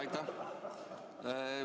Aitäh!